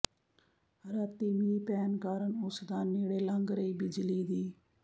ਰਾਤੀ ਮੀਂਹ ਪੈਣ ਕਾਰਨ ਉਸ ਦਾ ਨੇੜੇ ਲੰਘ ਰਹੀ ਬਿਜਲੀ ਦੀ